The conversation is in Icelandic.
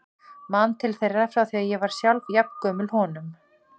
Man til þeirra frá því ég var sjálf jafn gömul honum.